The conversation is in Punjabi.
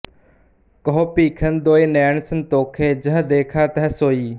ਕਹੁ ਭੀਖਨ ਦੁਇ ਨੈਨ ਸੰਤੋਖੇ ਜਹ ਦੇਖਾ ਤਹ ਸੋਈ